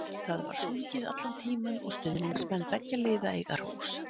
Það var sungið allan tímann og stuðningsmenn beggja liða eiga hrós.